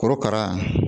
Korokara